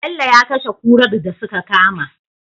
Bello ya kashe kurar da suka kama